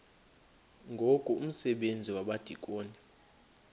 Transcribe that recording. ngoku umsebenzi wabadikoni